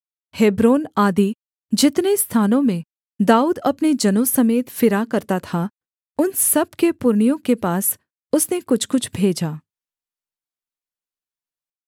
Hebron आदि जितने स्थानों में दाऊद अपने जनों समेत फिरा करता था उन सब के पुरनियों के पास उसने कुछ कुछ भेजा